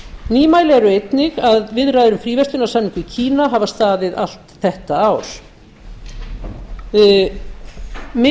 nýmæli eru einnig viðræður um fríverslunarsamning við kína sem staðið hafa allt þetta ár